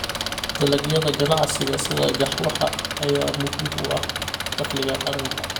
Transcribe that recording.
Dalagyada ganacsiga sida qaxwaha ayaa muhiim u ah dakhliga qaranka.